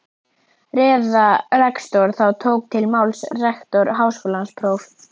Ræða rektors Þá tók til máls rektor Háskólans próf.